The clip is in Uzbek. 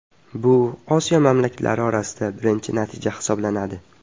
Bu Osiyo mamlakatlari orasida birinchi natija hisoblanadi.